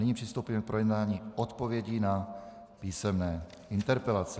Nyní přistoupíme k projednání odpovědí na písemné interpelace.